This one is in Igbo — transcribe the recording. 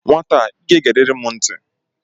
Nwata a, ị ga-egerịrị m ntị!